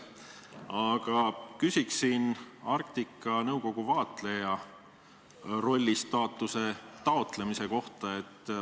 Aga ma küsin Arktika Nõukogus vaatlejarolli staatuse taotlemise kohta.